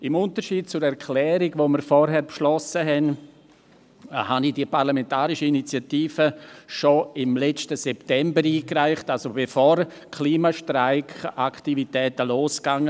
Im Unterschied zur Erklärung, die wir vorhin beschlossen haben, wurde eine andere parlamentarische Initiative schon im letzten September eingereicht, das heisst, bevor die Klimastreiks losgingen.